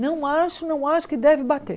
Não acho, não acho que deve bater.